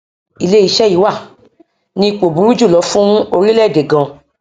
iléeṣẹ yìí wà ní ipò burú jù lọ fún orílẹèdè gan